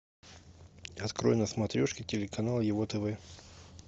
открой на смотрешке телеканал его тв